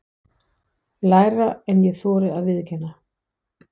Lægra en ég þori að viðurkenna.